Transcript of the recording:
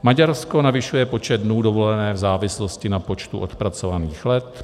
Maďarsko navyšuje počet dnů dovolené v závislosti na počtu odpracovaných let.